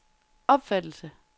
opfattelse